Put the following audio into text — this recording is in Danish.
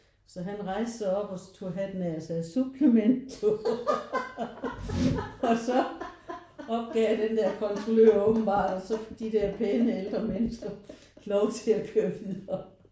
Så han rejste sig op og så tog hatten af og sagde: suplemento. Og så opgav den der kontrollør åbenbart og så fik de der pæne ældre mennesker lov til at køre videre